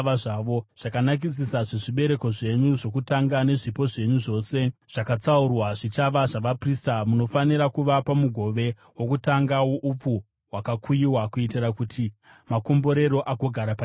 Zvakanakisisa, zvezvibereko zvenyu zvokutanga nezvipo zvenyu zvose zvakatsaurwa zvichava zvavaprista. Munofanira kuvapa mugove wokutanga woupfu hwakakuyiwa kuitira kuti makomborero agogara paimba yenyu.